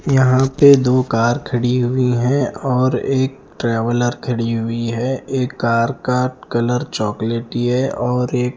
यहाँ पे दो कार खड़ी हुई है और एक ट्रेवलर खड़ी हुई है और एक कार का कलर चोकाल्टी है और एक--